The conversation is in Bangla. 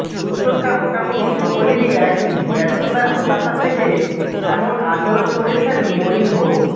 উত্তরটা মোটামুটি সকলেরই একই ব্যর্থতার হতাশা থেকে এমনব আচরণ করছেন মরিনহো